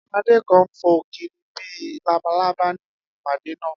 Adé kàn ń fo kiri bí i labalábá níbi ìpàdé náà